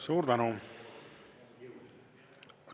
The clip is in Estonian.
Suur tänu!